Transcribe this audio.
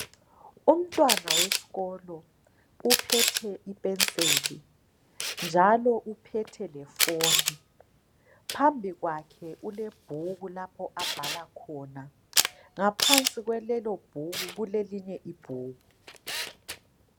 Umntwana wesikolo uphethe ipenseli njalo uphethe i phone. Pambi kwakho kulebhuku lapho abhala khona. Ngaphansi kwalelobhuku kulelinye ibhuku